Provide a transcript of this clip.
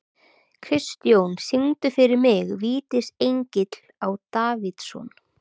Kristjón, syngdu fyrir mig „Vítisengill á Davidson“.